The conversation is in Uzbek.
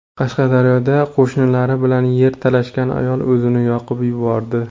Qashqadaryoda qo‘shnilari bilan yer talashgan ayol o‘zini yoqib yubordi.